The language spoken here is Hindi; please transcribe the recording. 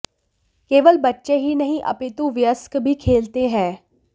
केवल बच्चे ही नहीं अपितु वयस्क भी खेलते हैं